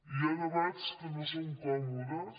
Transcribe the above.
hi ha debats que no són còmodes